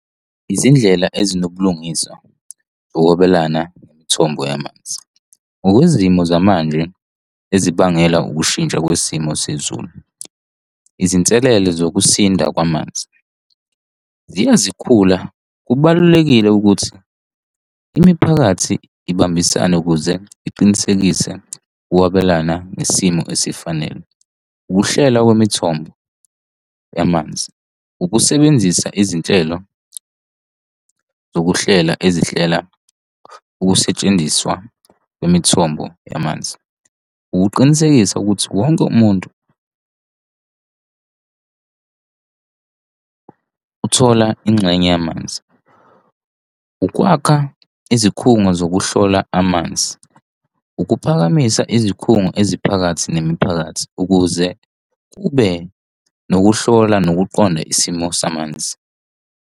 Izindlela ezinobulungiswa zokwabelana ngemithombo yamanzi. Ngokwezolimo zamanje ezibangelwa ukushintsha kwesimo sezulu. Izinselele zokusinda kwamanzi ziya zikhula, kubalulekile ukuthi imiphakathi ibambisane ukuze iqinisekise ukwabelana ngesimo esifanele. Ukuhlela kwemithombo yamanzi, ukusebenzisa izinhlelo zokuhlela ezihlela ukusetshenziswa kwemithombo yamanzi. Ukuqinisekisa ukuthi wonke umuntu kuyo uthola ingxenye yamanzi. Ukwakha izikhungo zokuhlola amanzi, ukuphakamisa izikhungo eziphakathi nemiphakathi ukuze kube nokuhlola nokuqonda isimo samanzi.